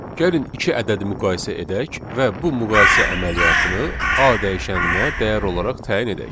Gəlin iki ədədi müqayisə edək və bu müqayisə əməliyyatını A dəyişəninə dəyər olaraq təyin edək.